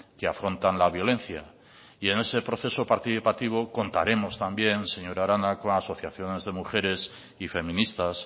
que afrontan la violencia y en ese proceso participativo contaremos también señor arana con asociaciones de mujeres y feministas